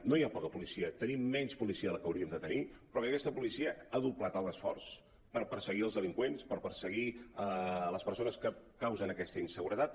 no hi ha poca policia tenim menys policia que la que hauríem de tenir però aquesta policia ha doblat l’esforç per perseguir els delinqüents per perseguir les persones que causen aquesta inseguretat